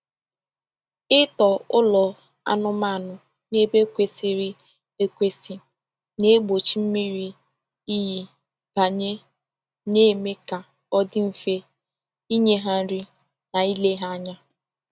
Ịtọ ụlọ anụmanụ n’ebe kwesịrị ekwesị na-egbochi mmiri iyi banye, na-eme ka ọ dị mfe inye ha nri na ile ha anya.